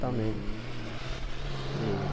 Também, né? Que